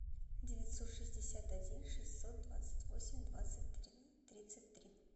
девятьсот шестьдесят один шестьсот двадцать восемь двадцать тридцать три